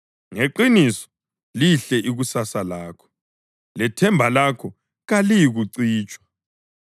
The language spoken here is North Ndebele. Ngeqiniso lihle ikusasa lakho, lethemba lakho kaliyikucitshwa.